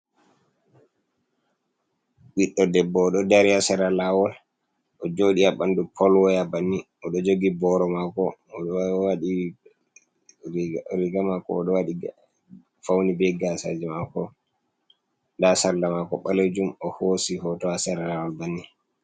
Ɓiɗɗo debbo, o ɗo dari ha sera lawol. O jooɗi ha ɓandu polwaya banni. O ɗo jogi boro mako. O ɗo waɗi riga mako. O ɗo waɗi fauni be gasaaji mako, nda sarla mako baleejum. O hoosi hoto ha sera lawol banni.